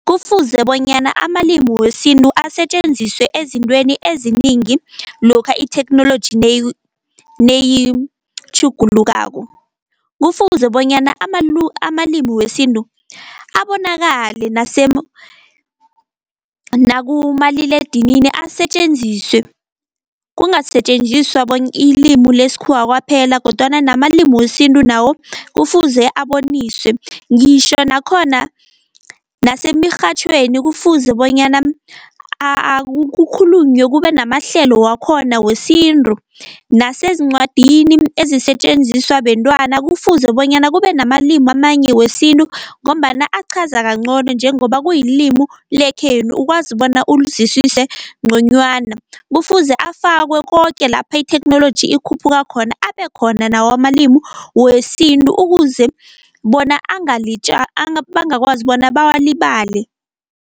Kufuze bonyana amalimu wesintu asetjenziswe ezintweni eziningi lokha itheknoloji neyitjhugulukako. Kufuze bonyana amalimu wesintu abonakale nakumaliledinini asetjenziswe, kungasetjenziswa ilimu lesikhuwa kwaphela, kodwana namalimu wesintu nawo kufuze aboniswe. Ngitjho nakhona nasemirhatjhweni kufuze bonyana kukhulunywe kube namahlelo wakhona wesintu, nasezincwadini ezisetjenziswa bentwana kufuze bonyana kube namalimu amanye wesintu, ngombana aqhaza kancono njengoba kuyilimu lekhenu ukwazi bona ulizwisise nconywana. Kufuze afakwe koke lapha itheknoloji ikhuphuka khona, abekhona nawo amalimu wesintu ukuze bona bangakwazi bona bawalibale.